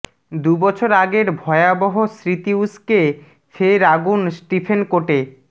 দুবছর আগের ভয়াবহ স্মৃতি উস্কে ফের আগুন স্টিফেন কোর্টে